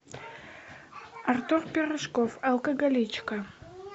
артур пирожков алкоголичка